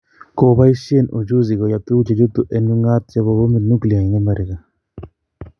Kipoisyen uchusi koyap tuguk che chutu en ungaat chepo bomitap nuclear en america